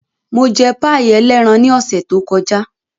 Mo jẹ páì ẹlẹ́ran ní ọ̀sẹ̀ tó kọjá.